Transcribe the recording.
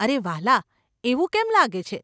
અરે, વહાલા, એવું કેમ લાગે છે?